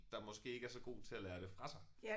Der måske ikke er så god til at lære det fra sig